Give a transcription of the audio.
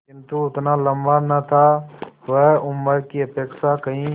किंतु उतना लंबा न था वह उम्र की अपेक्षा कहीं